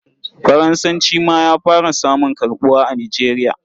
Faransanci ma ya fara samun karɓuwa a Nigeria.